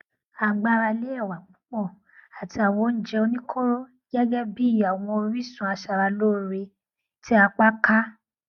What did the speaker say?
à gbára lé ẹwà púpọ àti àwọn oúnjẹ oníkóró gẹgẹ bí i àwọn orísun aṣara lóore tí apá ká